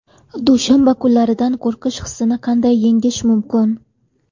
Dushanba kunlaridan qo‘rqish hissini qanday yengish mumkin?.